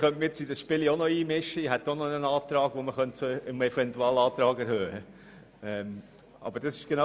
Ich könnte mich nun auch noch in dieses Spiel einmischen, denn ich habe auch noch einen Antrag, den man zum Eventualantrag erheben könnte.